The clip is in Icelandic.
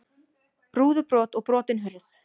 Rúðubrot og brotin hurð